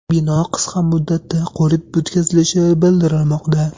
Bino qisqa muddatda qurib bitkazilishi bildirilmoqda.